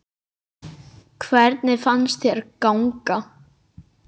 Hvernig fannst þér ganga?